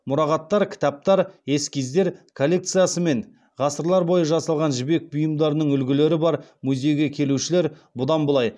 мұрағаттар кітаптар эскиздер коллекциясы мен ғасырлар бойы жасалған жібек бұйымдарының үлгілері бар музейге келушілер бұдан былай